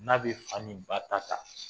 N'a bɛ fa ni ba ta ta